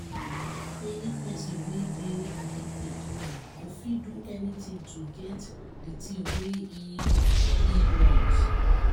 any pesin wey dey addicted go fit do anything to get di thing wey im im want.